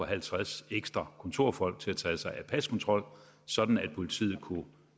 halvtreds ekstra kontorfolk til at tage sig af paskontrol sådan at politiet kunne